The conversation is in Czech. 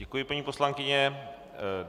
Děkuji, paní poslankyně.